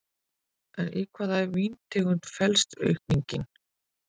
En í hvaða víntegund felst aukningin?